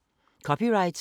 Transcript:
DR P1